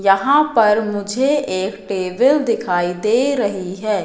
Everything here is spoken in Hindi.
यहां पर मुझे एक टेबल दिखाई दे रही है।